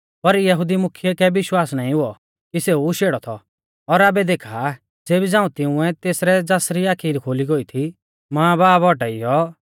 पर यहुदी मुख्यै कै विश्वास नाईं हुऔ कि सेऊ शेड़ौ थौ और आबै देखा आ ज़ेबी झ़ांऊ तिंउऐ तेसरै ज़ासरी आखी खुली गोई थी मांबाब औटाइयौ